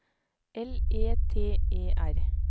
L E T E R